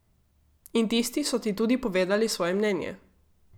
In tisti so ti tudi povedali svoje mnenje.